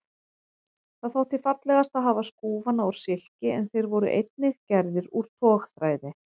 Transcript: Það þótti fallegast að hafa skúfana úr silki en þeir voru einnig gerðir úr togþræði.